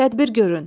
Tədbir görün.